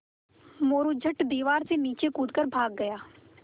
मोरू झट दीवार से नीचे कूद कर भाग गया